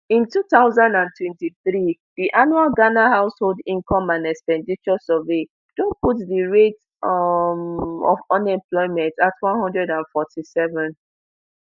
in two thousand and twenty-three di annual ghana household income and expenditure survey don put di rate um of unemployment at one hundred and forty-seven